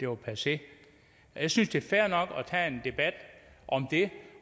var passé jeg synes det er fair nok at tage en debat om det